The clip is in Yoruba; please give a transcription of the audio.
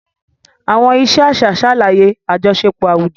Àwọn ìṣe àṣà ṣàlàyé àjọṣepọ̀ àwùjọ.